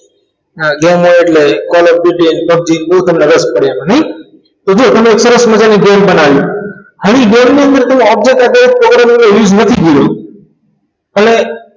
Games હોય એટલે college પૂરતી જ PUBG તેમાં તમને બહુ રસ પડે નહીં તો તમે સરસ મજાની games બનાવી હવે game ની અંદ game સાથે programming નથી ભૂલ્યા એટલે